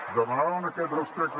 demanaven aquest respecte